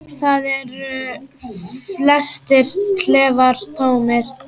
Þar eru flestir klefar tómir.